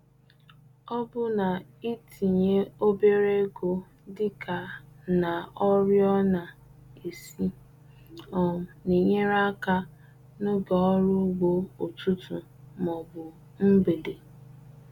Ọbụna itinye obere ego dị ka na oriọna isi um na-enyere aka n'oge ọrụ ugbo ụtụtụ ma ọ bụ mgbede.